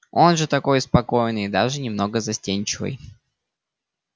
он же такой спокойный и даже немного застенчивый